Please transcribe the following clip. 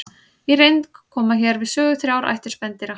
Í reynd koma hér við sögu þrjár ættir spendýra.